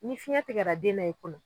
Ni fiɲɛ tigɛra den na i bolo.